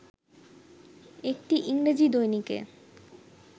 একটি ইংরেজি দৈনিকে